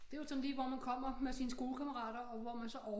Det var sådan lige hvor man kommer med sine skolekammerater og hvor man så